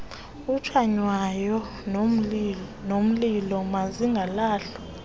otshaywayo nomlilo mazingalahlwa